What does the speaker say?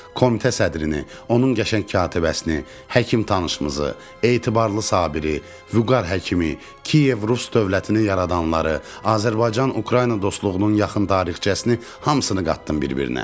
Komitə sədrini, onun qəşəng katibəsini, həkim tanışımızı, etibarlı Sabiri, Vüqar həkimi, Kiyev Rus dövlətini yaradanları, Azərbaycan-Ukrayna dostluğunun yaxın tarixçəsini hamısını qatdım bir-birinə.